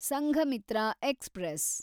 Sanghamitra express